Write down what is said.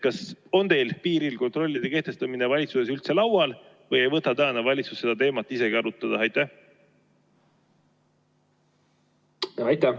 Kas valitsuses on piiril kontrolli kehtestamine üldse laual või ei võta tänane valitsus seda teemat isegi arutada?